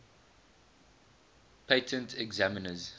patent examiners